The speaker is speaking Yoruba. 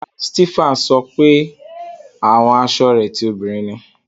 Rárá, Stephan sọ wípé àwọn asọ rẹ ti òbinrín ni.